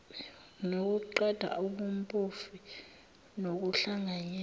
nokuqeda ubumpofu nokuhlanganyela